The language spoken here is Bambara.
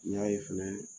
N y'a ye fɛnɛ